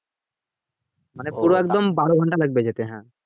মানে পুরো একদম বারো ঘন্টা লাগবে যেতে হ্যাঁ